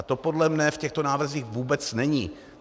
A to podle mě v těchto návrzích vůbec není.